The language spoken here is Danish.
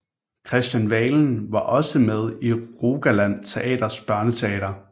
Kristian Valen var også med i Rogaland Teaters børneteater